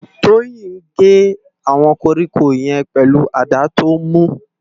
Toyin n gé áwòn kórikó yèn pèlú àdá tó mú